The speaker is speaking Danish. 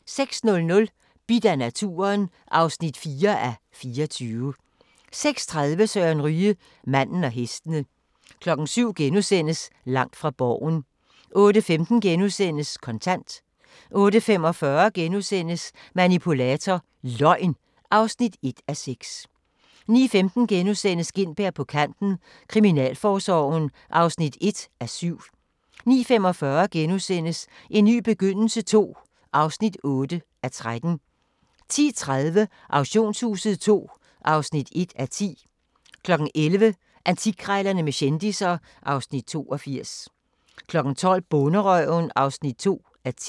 06:00: Bidt af naturen (4:24) 06:30: Søren Ryge: Manden og hestene 07:00: Langt fra Borgen * 08:15: Kontant * 08:45: Manipulator – Løgn (1:6)* 09:15: Gintberg på Kanten – Kriminalforsorgen (1:7)* 09:45: En ny begyndelse II (8:13)* 10:30: Auktionshuset II (1:10) 11:00: Antikkrejlerne med kendisser (Afs. 82) 12:00: Bonderøven (2:10)